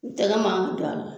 U tana ma n don ala